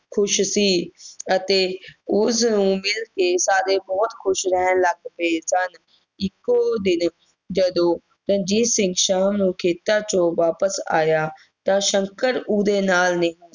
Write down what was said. ਖੁਸ਼ ਸੀ ਅਤੇ ਉਸ ਨੂੰ ਮਿਲ ਕੇ ਸਾਰੇ ਬਹੁਤ ਖੁਸ਼ ਰਹਿਣ ਲੱਗ ਗਏ ਸਨ ਇਕੋ ਦਿਨ ਜਦੋਂ ਰਣਜੀਤ ਸਿੰਘ ਖੇਤਾਂ ਤੋਂ ਸ਼ਾਮ ਨੂੰ ਵਾਪਿਸ ਆਇਆ ਤਾਂ ਸ਼ੰਕਰ ਉਹਦੇ ਨਾਲ